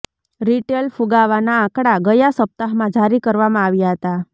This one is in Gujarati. રિટેલ ફુગાવાના આંકડા ગયા સપ્તાહમાં જારી કરવામાં આવ્યા હતા